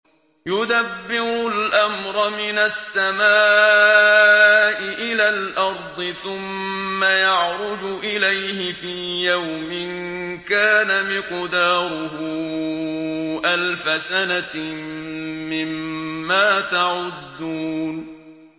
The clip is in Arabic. يُدَبِّرُ الْأَمْرَ مِنَ السَّمَاءِ إِلَى الْأَرْضِ ثُمَّ يَعْرُجُ إِلَيْهِ فِي يَوْمٍ كَانَ مِقْدَارُهُ أَلْفَ سَنَةٍ مِّمَّا تَعُدُّونَ